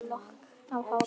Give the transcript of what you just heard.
Smá lokk af hárinu.